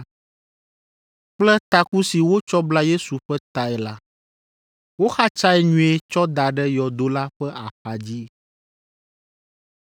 kple taku si wotsɔ bla Yesu ƒe tae la; woxatsae nyuie tsɔ da ɖe yɔdo la ƒe axadzi.